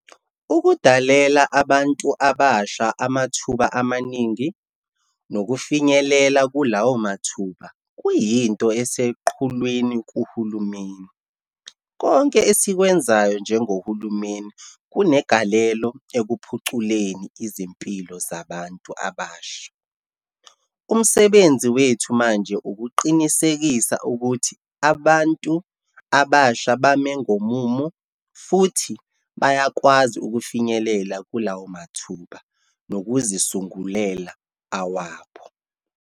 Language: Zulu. Ukudalela abantu abasha amathuba amaningi, nokufinyelela kulawo mathuba, kuyinto eseqhulwini kuhulumeni. Konke esikwenzayo njengohulumeni kunegalelo ekuphuculeni izimpilo zabantu abasha. Umsebenzi wethu manje ukuqinisekisa ukuthi abantu abasha bame ngomumo futhi bayakwazi ukufinyelela kula mathuba, nokuzisungulela awabo.